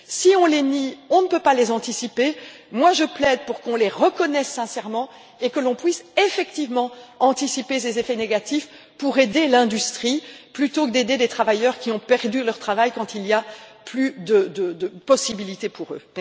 Si on les nie, on ne peut pas les anticiper. Je plaide pour qu'on les reconnaisse sincèrement et que l'on puisse effectivement anticiper ces effets négatifs pour aider l'industrie plutôt que d'aider des travailleurs qui ont perdu leur travail, quand il n'y a plus de possibilités pour eux.